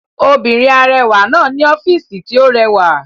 Obìnrin arẹwà náà ní ọ́fìsì tí ó rẹwà